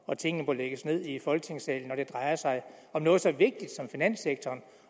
og at tingene må lægges ned i folketingssalen når det drejer sig om noget så vigtigt som finanssektoren